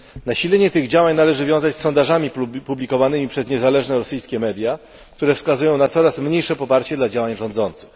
Nasilenie tych działań należy wiązać z sondażami publikowanymi przez niezależne rosyjskie media, które wskazują na coraz mniejsze poparcie dla działań rządzących.